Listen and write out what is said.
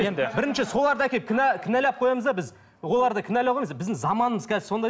енді бірінші соларды әкеліп кінә кінәлап қоямыз да біз оларды кінәлауға емес біздің заманымыз қазір сондай